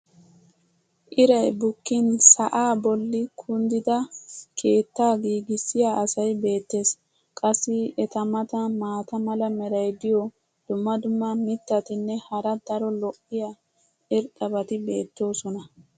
iray bukkin sa"aa boli kunddida keettaa giigissiya asay beetees. qassi eta matan maata mala meray diyo dumma dumma mitatinne hara daro lo'iya irxxabati beetoosona.